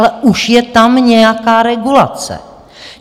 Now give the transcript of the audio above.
Ale už je tam nějaká regulace.